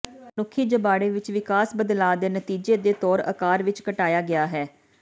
ਮਨੁੱਖੀ ਜਬਾੜੇ ਵਿਚ ਵਿਕਾਸ ਬਦਲਾਅ ਦੇ ਨਤੀਜੇ ਦੇ ਤੌਰ ਆਕਾਰ ਵਿਚ ਘਟਾਇਆ ਗਿਆ ਹੈ